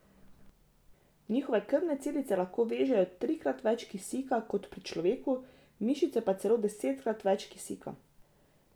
Njihove krvne celice lahko vežejo trikrat več kisika kot pri človeku, mišice pa celo desetkrat več kisika.